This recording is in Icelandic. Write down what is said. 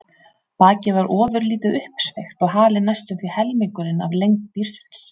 Bakið var ofurlítið uppsveigt og halinn næstum því helmingurinn af lengd dýrsins.